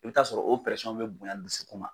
I bɛ taa sɔrɔ o bɛ bonya dusukun ma.